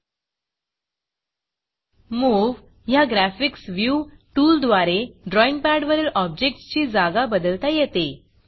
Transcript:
Moveमूव ह्या ग्राफिक्स Viewग्रॅफिक्स व्यू टूलद्वारे ड्रॉईंग पॅडवरील objectsऑब्जेक्ट्स ची जागा बदलता येते